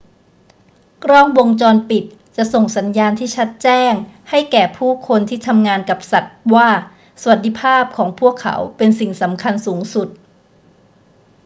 กล้องวงจรปิดจะส่งสัญญาณที่ชัดแจ้งให้แก่ผู้คนที่ทำงานกับสัตว์ว่าสวัสดิภาพของพวกเขาเป็นสิ่งสำคัญสูงสุด